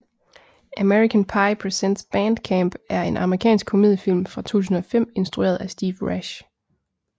American Pie Presents Band Camp er en amerikansk komediefilm fra 2005 instrueret af Steve Rash